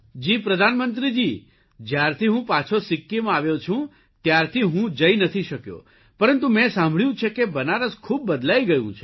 જી પ્રધાનમંત્રીજી જયારથી હું પાછો સિક્કિમ આવ્યો છું ત્યારથી હું જઇ નથી શક્યો પરંતુ મેં સાંભળ્યું છે કે બનારસ ખૂબ બદલાઇ ગયું છે